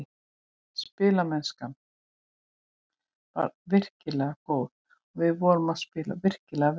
Spilamennskan var virkilega góð og við vorum að spila virkilega vel.